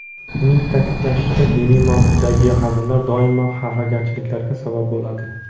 Uning ta’kidlashicha, diniy mavzudagi hazillar doimo xafagarchiliklarga sabab bo‘ladi.